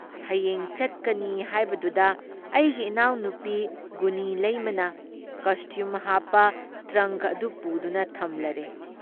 ꯍꯌꯦꯡ ꯆꯠꯀꯅꯤ ꯍꯥꯏꯕꯗꯨꯗ ꯑꯩꯒꯤ ꯏꯅꯥꯎꯅꯨꯄꯤ ꯒꯨꯅꯤꯂꯩꯃꯅ ꯀꯁꯇ꯭ꯌꯨꯝ ꯍꯥꯞꯄ ꯇ꯭ꯔꯪꯛ ꯑꯗꯨ ꯄꯨꯗꯨꯅ ꯊꯝꯂꯔꯦ ꯫